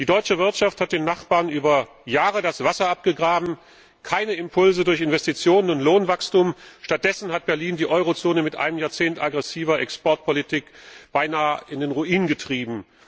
Die deutsche Wirtschaft hat den Nachbarn über Jahre das Wasser abgegraben, es gab keine Impulse durch Investitionen und Lohnwachstum, stattdessen hat Berlin die Eurozone mit einem Jahrzehnt aggressiver Exportpolitik beinahe in den Ruin getrieben.